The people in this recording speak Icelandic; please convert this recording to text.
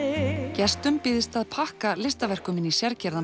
gestum býðst að pakka listaverkum inn í